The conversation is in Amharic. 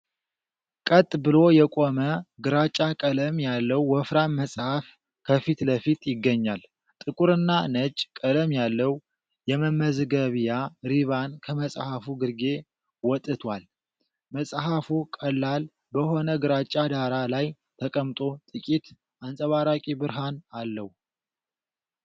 ቀጥ ብሎ የቆመ ግራጫ ቀለም ያለው ወፍራም መጽሐፍ ከፊት ለፊት ይገኛል። ጥቁርና ነጭ ቀለም ያለው የመመዝገቢያ ሪባን ከመጽሐፉ ግርጌ ወጥቷል። መጽሐፉ ቀላል በሆነ ግራጫ ዳራ ላይ ተቀምጦ ጥቂት አንጸባራቂ ብርሃን አለው።